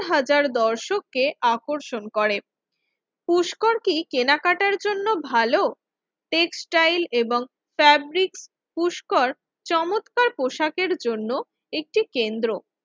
হাজার দর্শককে আকর্ষণ করে পুষ্কর কি কেনাকাটার জন্য ভালো? টেক্সটাইল এবং ফেব্রিক পুষ্কর চমৎকার পোশাকের জন্য একটি কেন্দ্র।